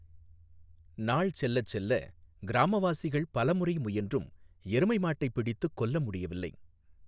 நாள் செல்லச் செல்ல, கிராமவாசிகள் பலமுறை முயன்றும் எருமை மாட்டை பிடித்துக் கொல்ல முடியவில்லை.